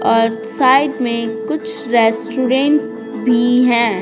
और साइड में कुछ रेस्टोरेंट भी है।